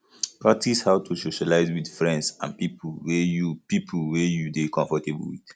practice how to socialize with friends and pipo wey you pipo wey you dey comfortable with